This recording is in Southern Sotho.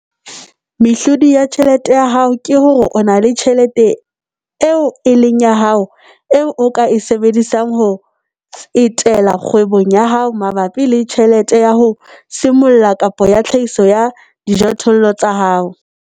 Mehlodi ya tjhelete ya hao ke hore o na le tjhelete eo e leng ya hao eo o ka e sebedisang ho tsetela kgwebong ya hao mabapi le tjhelete ya ho simolla kapa ya tlhahiso ya dijothollo tsa hao.